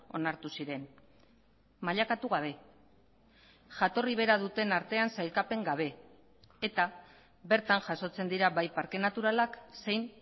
onartu ziren mailakatu gabe jatorri bera duten artean sailkapen gabe eta bertan jasotzen dira bai parke naturalak zein